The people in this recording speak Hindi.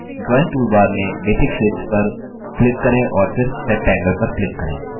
drawing toolbar में basic shapes पर क्किक करें और फिर rectangle पर click करें